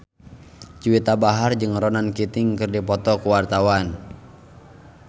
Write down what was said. Juwita Bahar jeung Ronan Keating keur dipoto ku wartawan